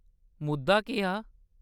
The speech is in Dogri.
मुद्दा केह्‌‌ हा ?